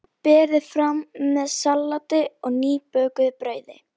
Berið fram með salati og nýbökuðu brauði.